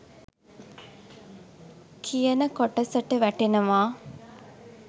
කියන කොටසට වැටෙනවා.